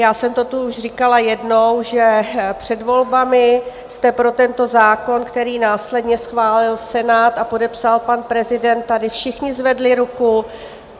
Já jsem to tu už říkala jednou, že před volbami jste pro tento zákon, který následně schválil Senát a podepsal pan prezident, tady všichni zvedli ruku.